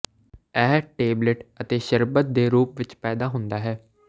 ਇਹ ਟੇਬਲੇਟ ਅਤੇ ਸ਼ਰਬਤ ਦੇ ਰੂਪ ਵਿਚ ਪੈਦਾ ਹੁੰਦਾ ਹੈ